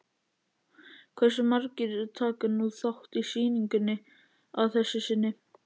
Hversu margir taka nú þátt í sýningunni að þessu sinni?